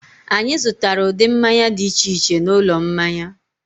Anyị zụtara ụdị mmanya dị iche iche n'ụlọ mmanya